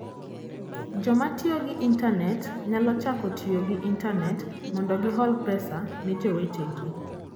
Joma tiyo gi intanet nyalo chako tiyo gi intanet mondo gihol pesa ne jowetegi.